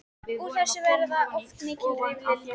Úr þessu verða oft mikil rifrildi.